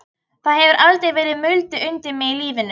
Það hefur aldrei verið mulið undir mig í lífinu.